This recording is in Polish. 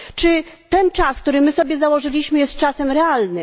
Czy ten czas, który sobie założyliśmy, jest czasem realnym?